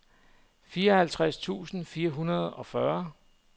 fireoghalvtreds tusind fire hundrede og fyrre